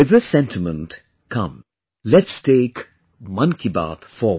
With this sentiment, come, let's take 'Mann Ki Baat' forward